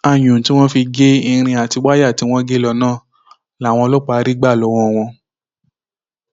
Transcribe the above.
ayùn tí wọn fi ń gé irin àti wáyà tí wọn gé lọ náà làwọn ọlọpàá rí gbà lọwọ wọn